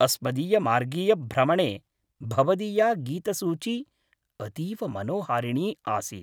अस्मदीयमार्गीयभ्रमणे भवदीया गीतसूची अतीव मनोहारिणी आसीत्।